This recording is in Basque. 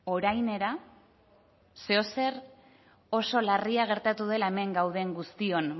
orainera zeozer oso larria gertatu dela hemen gauden guztion